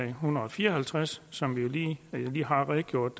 en hundrede og fire og halvtreds som jeg lige har redegjort